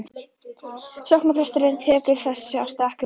Sóknarpresturinn tekur þessu af stakri ró.